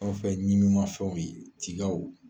Anw fɛ ɲimin mafɛnw ye tigaw.